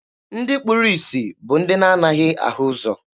Ndị kpuru isi bụ ndị na-anaghị ahụ ụzọ.